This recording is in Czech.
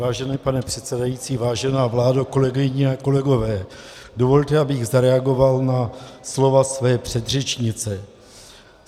Vážený pane předsedající, vážená vládo, kolegyně a kolegové, dovolte, abych zareagoval na slova své předřečnice.